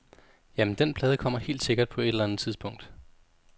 Jamen, dén plade kommer helt sikkert på et eller andet tidspunkt.